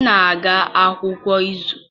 M na-aga akwụkwọ kwa izu.